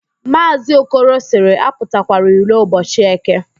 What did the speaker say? Maazị Okoro sịrị, apụtakwala iro ụbọchị​ Eke